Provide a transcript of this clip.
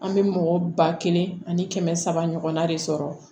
An bɛ mɔgɔ ba kelen ani kɛmɛ saba ɲɔgɔnna de sɔrɔ